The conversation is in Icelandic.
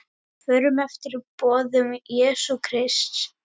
Förum eftir boðum Jesú Krists.